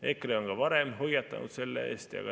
EKRE on varemgi hoiatanud selle eest.